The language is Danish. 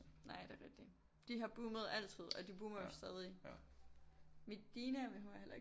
Nej det er rigtigt de har boomet altid og de boomer jo stadig Medina hun er heller ikke